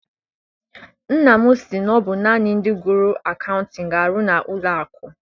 Nna m si na ọ bụ naanị ndị gụrụ akaụtin ga arụ n'ụlọ akụ.